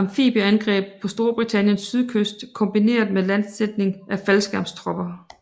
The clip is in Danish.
amfibieangreb på Storbritanniens sydkyst kombineret med landsætning af faldskærmstropper